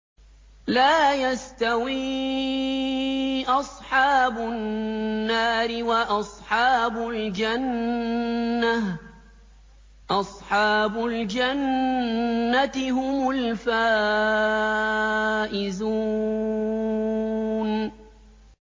لَا يَسْتَوِي أَصْحَابُ النَّارِ وَأَصْحَابُ الْجَنَّةِ ۚ أَصْحَابُ الْجَنَّةِ هُمُ الْفَائِزُونَ